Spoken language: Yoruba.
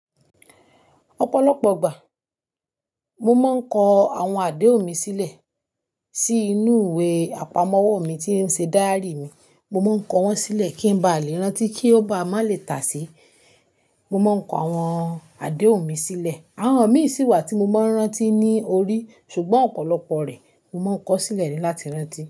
Ọ̀pọ̀lọpọ̀ ìgbà, mo máa ń kọ àwọn àdéhùn mi sílẹ̀ sí inú ìwé àpamọ́wọ́ mi tí ń ṣe díárì mi. Mo máa ń kọ wọ́n sílẹ̀ kí n ba lè rántí kí ó ba ma lè tà se. Mo máa ń kọ àwọn àdéhùn mi sílẹ̀. Àwọn mi sì wà tí mo máa ń rántí ní orí, ṣùgbọ́n ọ̀pọ̀lọpọ̀ rẹ̀ mo máa ń kọ sílẹ̀ ni láti rántí.